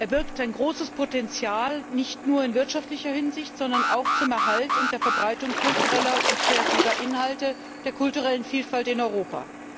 Er birgt ein großes Potenzial nicht nur in wirtschaftlicher Hinsicht, sondern auch zum Erhalt und zur Verbreitung kultureller und kreativer Inhalte, der kulturellen Vielfalt in Europa.